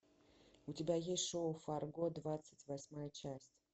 у тебя есть шоу фарго двадцать восьмая часть